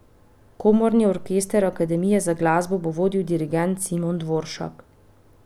Komorni orkester Akademije za glasbo bo vodil dirigent Simon Dvoršak.